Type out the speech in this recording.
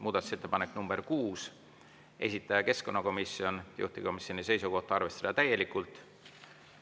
Muudatusettepanek nr 6, esitanud keskkonnakomisjon, juhtivkomisjoni seisukoht on arvestada täielikult.